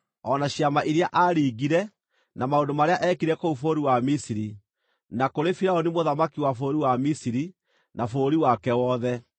o na ciama iria aaringire, na maũndũ marĩa eekire kũu bũrũri wa Misiri, na kũrĩ Firaũni mũthamaki wa bũrũri wa Misiri, na bũrũri wake wothe;